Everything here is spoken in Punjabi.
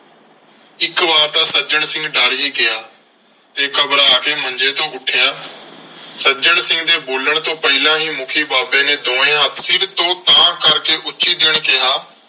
ਇਕ ਵਾਰ ਤਾਂ ਸੱਜਣ ਸਿੰਘ ਡਰ ਹੀ ਗਿਆ ਤੇ ਘਬਰਾ ਕੇ ਮੰਜੇ ਤੋਂ ਉੱਠਿਆ। ਸੱਜਣ ਸਿੰਘ ਦੇ ਬੋਲਣ ਤੋਂ ਪਹਿਲਾਂ ਹੀ ਮੁੱਖੀ ਬਾਬੇ ਨੇ ਦੋਵੇਂ ਹੱਥ ਸਿਰ ਤੋਂ ਤਾਂਹ ਕਰਕੇ ਉੱਚੀ ਜਿਹੇ ਕਿਹਾ।